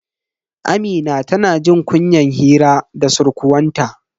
Amina tana jin kunyan hira da surkuwanta.